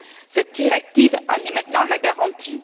Cette directive en est maintenant la garantie.